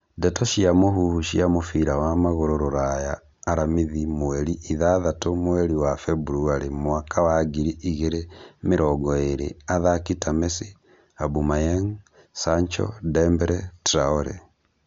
Ndeto cia mũhuhu cia mũbira wa magũrũ Rũraya aramithi mweri ithathatũ mweri wa Februarĩ mwaka wa ngiri igĩrĩ mĩrongo ĩrĩ athaki ta Messi, Aubemayang, Sancho, Dembele, Traore